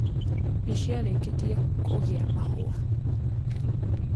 Nĩciarĩkĩtie kũgĩa mahũa.